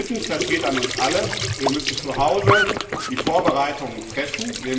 Drittens, das geht an uns alle Wir müssen zu Hause die Vorbereitungen treffen.